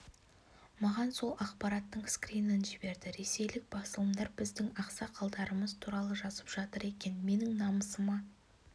маған сол ақпараттың скринін жіберді ресейлік басылымдар біздің ақсақалдарымыз туралы жазып жатыр екен менің намысыма